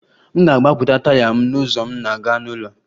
M ga-agbapụta taya m n'ụzọ m na-aga n'ụlọ